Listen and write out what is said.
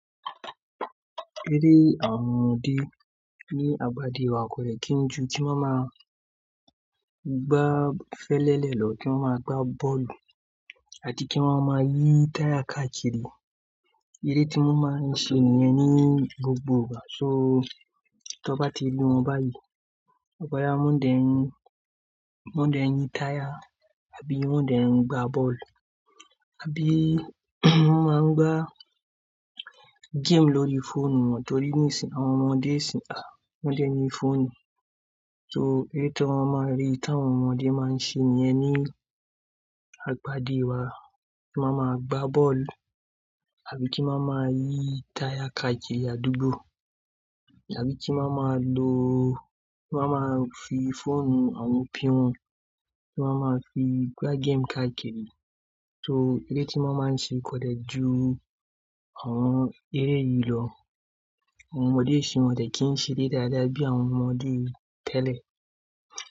Eré àwọn ọmọdé ní agbá dé wa kò de kí ń ju kí wọ́n máa gbá fẹ́lẹ́lẹ́ lọ, kí wọ́n máa gbá bọ́ọ̀lù àti kí wọ́n máa yí táyà káàkiri. Ere tí wọ́n máa ń ṣe nìyẹn ní gbogbo ìgbà. So tí wọ́n bá ti le wọn báyìí, to ba ya woń dè ń yín táyà àbí wọ́n ń dè ń gbá bọ́ọ̀lù àbí wọ́n máa ń gbá game lórí fóònù wọn torí nísìí wọn ọmọdé sì ń tà wọ́n ń dẹ ni fóònù. So èyí tí wọ́n máa ń rí tí àwọn ọmọdé máa ń ṣe nìyẹn ní agbádé wa, kí wọ́n máa gbá bọ́ọ̀lù àbí kí wọ́n máa yí táyà káàkiri àdúgbò àbí kí wọ́n máa lo-- kí wọ́n máa fi fóònù àwọn òbi wọn, kí wọ́n máa fi gbá game káàkiri. So èyí tí wọ́n máa ń ṣe kọ̀ dẹ ju àwọn eré yìí lọ. Àwọn ọmọdé isin yi wọ́n kò de kí ń ṣe eré dáadáa bí àwọn ọmọdé tẹ́lẹ̀